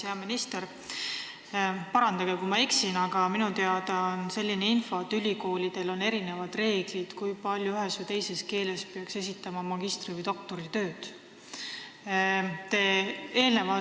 Hea minister, parandage, kui ma eksin, aga minule on teada selline info, et ülikoolidel on erinevad reeglid, kui palju peaks magistri- või doktoritöid ühes või teises keeles esitama.